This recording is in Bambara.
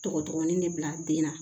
Tɔgɔ dɔgɔnin de bila den na